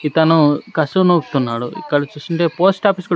ఇతను కసువు నూపుతున్నాడు ఇక్కడ చూస్తుంటే పోస్ట్ ఆఫీస్ కూడా--